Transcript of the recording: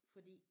Fordi?